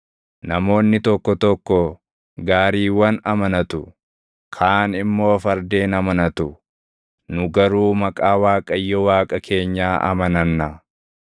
Namoonni tokko tokko gaariiwwan amanatu; kaan immoo fardeen amanatu; nu garuu maqaa Waaqayyo Waaqa keenyaa amananna.